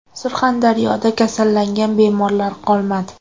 Surxondaryoda kasallangan bemorlar qolmadi.